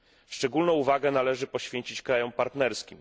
Szczególną uwagę należy poświęcić krajom partnerskim.